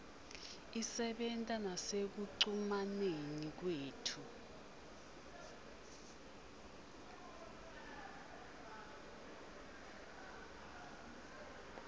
isebenta nasekucumaneni kwethu